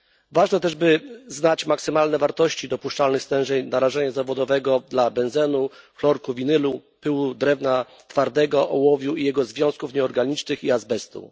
Ważne też, by znać maksymalne wartości dopuszczalnych stężeń narażenia zawodowego dla benzenu, chlorku winylu, pyłów drewna twardego, ołowiu i jego związków nieorganicznych oraz azbestu.